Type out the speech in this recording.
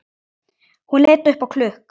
Hún leit upp á klukk